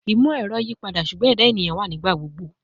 Imọ-ẹrọ yipada, ṣugbọn ẹda eniyan wa nigbagbogbo